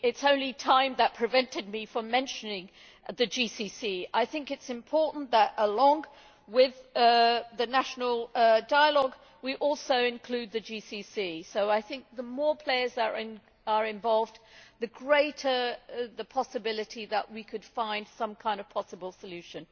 It is only time that prevented me from mentioning the GCC. I think it is important that, along with the national dialogue, we also include the GCC, so I think the more players that are involved, the greater the possibility that we could find some kind of possible solution.